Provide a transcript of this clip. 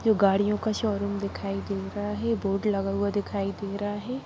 ये गाड़ियों का शोरूम दिखाई दे रहा है बोर्ड लगा हुआ दिखाई दे रहा है ।